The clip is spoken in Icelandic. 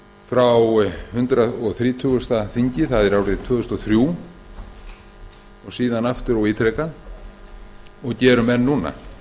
frá hundrað þrítugasta þingi það var árið tvö þúsund og þrjú og síðan aftur og ítrekað og gerum enn núna